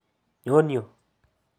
Nyon yu !